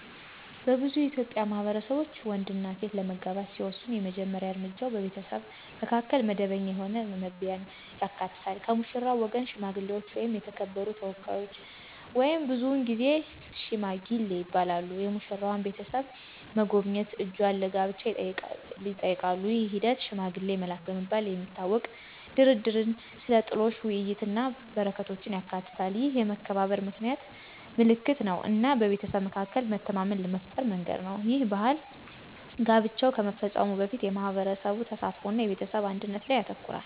በብዙ የኢትዮጵያ ማህበረሰቦች፣ ወንድና ሴት ለመጋባት ሲወስኑ የመጀመሪያ እርምጃው በቤተሰቡ መካከል መደበኛ የሆነ መግቢያን ያካትታል። ከሙሽራው ወገን ሽማግሌዎች ወይም የተከበሩ ተወካዮች (ብዙውን ጊዜ "ሺማጊል" ይባላሉ) የሙሽራዋን ቤተሰብ መጎብኘት እጇን ለጋብቻ ይጠይቃሉ። ይህ ሂደት፣ “ሽማግሌ መላክ” በመባል የሚታወቀው፣ ድርድርን፣ ስለ ጥሎሽ ውይይቶችን እና በረከቶችን ያካትታል። ይህ የመከባበር ምልክት እና በቤተሰብ መካከል መተማመንን ለመፍጠር መንገድ ነው. ይህ ባህል ጋብቻው ከመፈጸሙ በፊት የማህበረሰብ ተሳትፎ እና የቤተሰብ አንድነት ላይ ያተኩራል።